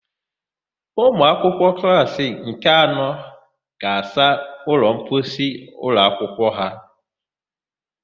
Ụmụakwụkwọ klassị nke anọ ga-asa ụlọmposi ụlọakwụkwọ ha.